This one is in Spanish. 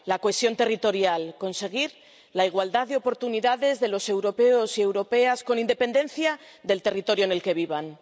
La cohesión territorial conseguir la igualdad de oportunidades de los europeos y europeas, con independencia del territorio en el que vivan.